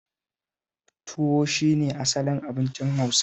Tuwo shi ne asalin abincin Hausawa